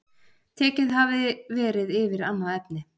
Tekið hafi verið yfir annað efni